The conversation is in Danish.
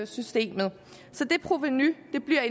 systemet det provenu bliver